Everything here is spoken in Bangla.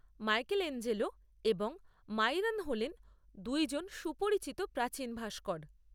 মাইকেলেঞ্জেলো এবং মাইরন হলেন দুইজন সুপরিচিত প্রাচীন ভাস্কর।